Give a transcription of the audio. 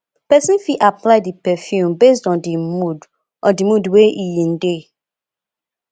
person fit apply di perfume based on di mood on di mood wey in de